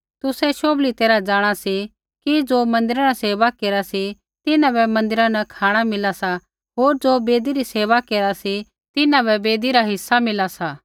तुसै शोभली तैरहा जाँणा सी कि ज़ो मन्दिरा न सेवा केरा सी तिन्हां बै मन्दिरा न खाँणा मिला सा होर ज़ो बेदी री सेवा केरा सी तिन्हां बै बेदी रा हिस्सा मिला सा